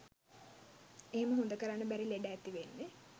එහෙම හොඳ කරන්න බැරි ලෙඩ ඇතිවෙන්නෙ